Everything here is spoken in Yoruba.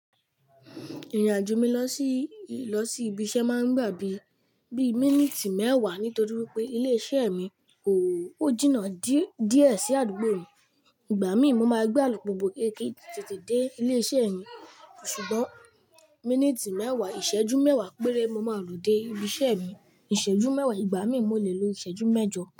Ìrìnàjò mi lọ sí, lọ sí ibi iṣẹ́ máa ń gba bí i, bí i míníìtì mẹ́wàá nítorí wípé ilé iṣẹ́ mi ò, ó jìnnà dí, díẹ̀ sí àdúgbò mi. Ìgbà mí mo máa gbé àlùpùpù kéékèèké tètè dé ilé iṣẹ́ mi. Ṣùgbọ́n, míníìtì mẹ́wàá, ìṣẹ́jú mẹ́wàá péré mo máa lò dé ibi iṣẹ́ mi. Ìṣẹ́jú mẹ́wàá, ìgbà mí mò le lo ìṣẹ́jú mẹ́jọ.